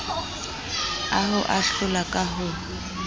a ho ahlola ka ho